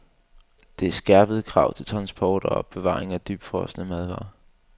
Der er skærpede krav til transport og opbevaring af dybfrosne madvarer.